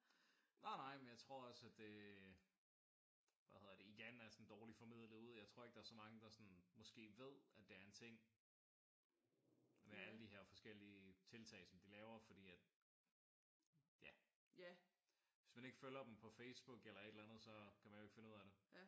Nej nej men jeg tror også at det hvad hedder det igen er sådan dårligt formidlet ud. Jeg tror ikke at der er så mange der ved at det er en ting med alle de her forskellige tiltag som de laver. Fordi at ja hvis man ikke følger dem på Facebook eller et eller andet så kan man jo ikke finde ud af det